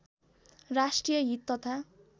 राष्ट्रिय हित तथा